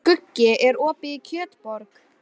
Skuggi, er opið í Kjötborg?